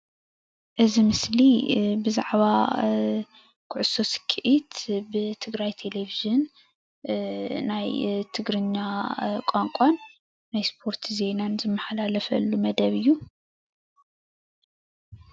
እዚ ምስሊ ብዛዕባ ኩዕሶ ስክዒት ብትግራይ ተሌቪዥን ናይ ትግሪኛ ቋንቋን ስፖርት ዜና ዝመሓላለፈሉ መደብ እዩ።